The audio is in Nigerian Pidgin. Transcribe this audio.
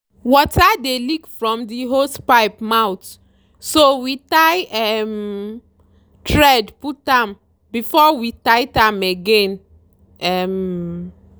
water dey leak from the hosepipe mouth so we tie um thread put am before we tight am again. um